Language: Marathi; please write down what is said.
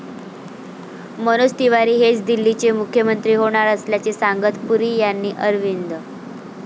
मनोज तिवारी हेच दिल्लीचे मुख्यमंत्री होणार असल्याचे सांगत पुरी यांनी अरविंद.